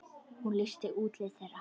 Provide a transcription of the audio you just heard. Hún lýsti útliti þeirra.